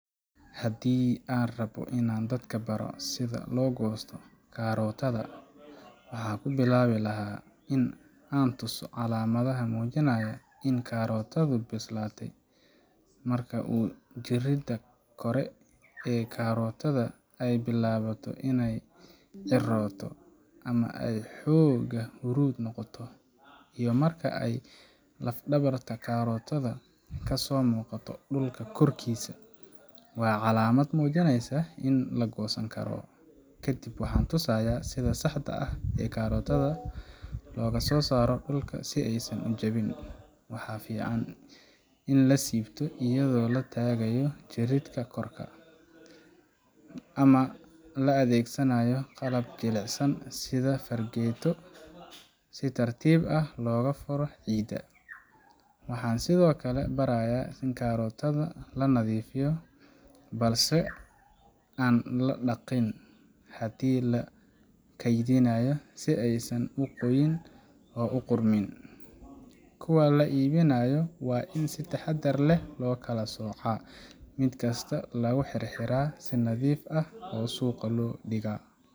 Haddii aan rabbo in aan dadka baro sida loo goosto karootada, waxaan ku bilaabi lahaa in aan tuso calaamadaha muujinaya in karootadu bislaatay. Marka uu jirridda kore ee karootada ay bilaabato in ay cirrooto ama ay xoogaa huruud noqoto, iyo marka ay lafdhabarta karootadu ka soo muuqato dhulka korkiisa, waa calaamad muujinaysa in la goosan karo. Kadib waxaan tusayaa sida saxda ah ee karootada loogu soo saaro dhulka si aysan u jabin. Waxaa fiican in la siibto iyadoo la taagayo jirridda korka ah, ama la adeegsanayo qalab jilicsan sida fargeeto si tartiib ah looga furo ciidda. Waxaan sidoo kale barayaa in karootada la nadiifiyo balse aan la dhaqin haddii la kaydinayo, si aysan u qoyin oo u qudhmin. Kuwa la iibinayana waa in si taxaddar leh loo kala soocaa, mid kasta lagu xirxiraa si nadiif ah oo suuqa loo dhigaa.